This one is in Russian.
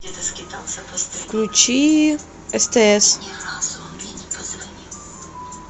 включи стс